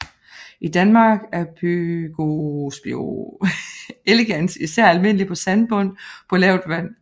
I Danmark er Pygospio elegans især almindelig på sandbund på lavt vand